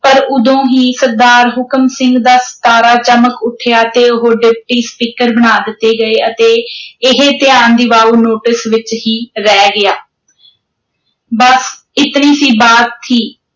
ਪਰ ਉਦੋਂ ਹੀ ਸਰਦਾਰ ਹੁਕਮ ਸਿੰਘ ਦਾ ਤਾਰਾ ਚਮਕ ਉੱਠਿਆ ਤੇ ਉਹ ਡਿਪਟੀ ਸਪੀਕਰ ਬਣਾ ਦਿੱਤੇ ਗਏ ਅਤੇ ਇਹ ਧਿਆਨ ਦਿਵਾਊ ਨੋਟਿਸ ਵਿੱਚ ਹੀ ਰਹਿ ਗਿਆ ਬਸ ਇਤਨੀ ਸੀ ਬਾਤ ਥੀ